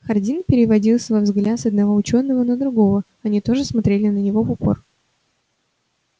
хардин переводил свой взгляд с одного учёного на другого они тоже смотрели на него в упор